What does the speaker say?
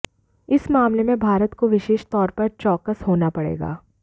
इस मामले में भारत को विशेष तौर पर चौकस होना पडे़गा